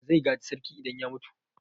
Wa zai gaji sarki idan ya mutu?